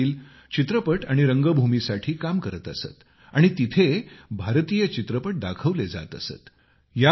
त्यांचे वडील चित्रपट आणि रंगभूमीसाठी काम करत असत आणि तेथे भारतीय चित्रपट दाखविले जात असत